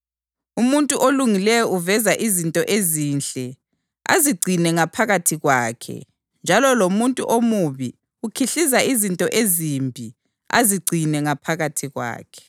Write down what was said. Umuntu olungileyo uveza izinto ezinhle azigcine ngaphakathi kwakhe njalo lomuntu omubi ukhihliza izinto ezimbi azigcine ngaphakathi kwakhe.